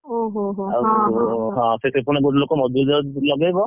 ଓହୋ ହଁ ହଁ ସେଥିରେ ପୁଣି ଗୋଟେ ଲୋକ ମଜୁରି ଲଗେଇବ,